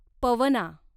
Pavana